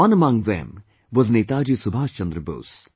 One among them was Netaji Subash Chandra Bose